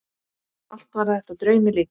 Allt var þetta draumi líkast.